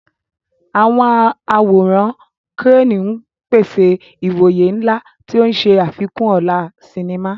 Àwọn àwòrán crane ń pèsè ìwòye ńlá, tí ó ń ṣe àfikún ọlá sinimá.